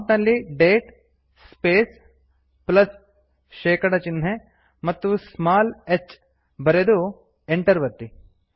prompt ನಲ್ಲಿ date space ಪ್ಲಸ್160 ಶೇಕಡ ಚಿಹ್ನೆ ಮತ್ತು ಸ್ಮಾಲ್ h ಬರೆದು ಎಂಟರ್ ಒತ್ತಿ